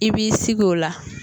I b'i sigi o la